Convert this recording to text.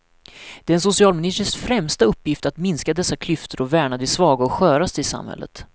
Det är en socialministers främsta uppgift att minska dessa klyftor och värna de svaga och sköraste i samhället.